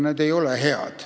Need ei ole head.